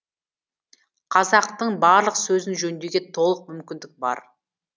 қазақтың барлық сөзін жөндеуге толық мүмкіндік бар